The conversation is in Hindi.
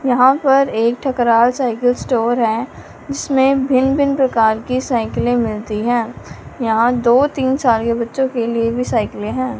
यहां पर एक ठकराल साइकल स्टोर है जिसमें भिन्न भिन्न प्रकार की साइकिले मिलती है यहां दो तीन साल के बच्चों के लिए भी साइकले है।